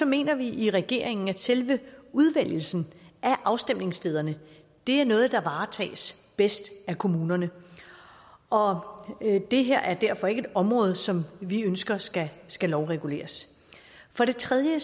mener vi i regeringen at selve udvælgelsen af afstemningsstederne er noget der varetages bedst af kommunerne og det her er derfor ikke et område som vi ønsker skal skal lovreguleres for det tredje